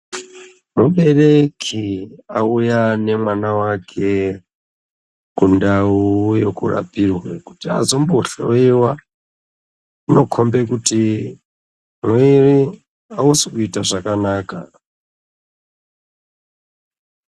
Mubereki auya nemwana wake kundau yekurapirwe kuti azombohloyiwa. Zvinokomba kuti mwiri wake hausikuita zvakanaka.